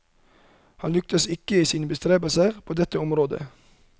Han lyktes ikke i sine bestrebelser på dette området.